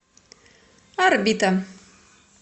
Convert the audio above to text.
орбита